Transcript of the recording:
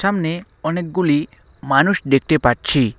সামনে অনেকগুলি মানুষ দেখতে পাচ্ছি।